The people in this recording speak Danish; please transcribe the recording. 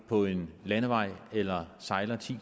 på en landevej eller sejler ti